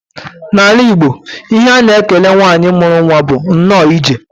N'ala Igbo, ihe a na-ekele nwanyị mụrụ nwa bụ nnọọ ije.